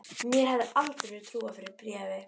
Mér hefði aldrei verið trúað fyrir bréfi.